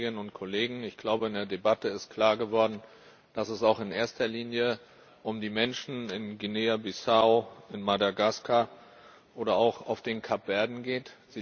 Liebe Kolleginnen und Kollegen, ich glaube in der Debatte ist klar geworden, dass es auch in erster Linie um die Menschen in Guinea Bissau, in Madagaskar oder auch auf den Kapverden geht.